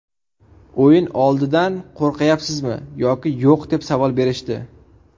O‘yin oldidan qo‘rqayapsizmi yoki yo‘q deb savol berishdi.